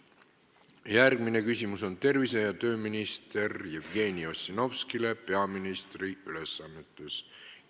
Järgmine küsimus on tervise- ja tööminister Jevgeni Ossinovskile peaministri ülesannetes.